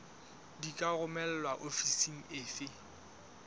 di ka romelwa ofising efe